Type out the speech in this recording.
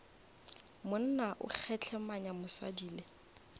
monna o kgehlemanya mosadi le